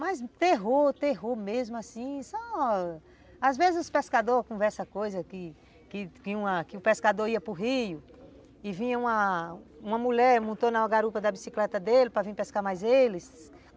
Mas, terror, terror mesmo assim, só... Às vezes os pescadores conversam com essa coisa que que o pescador ia para o rio e vinha uma mulher, montou na garupa da bicicleta dele para vir pescar mais eles.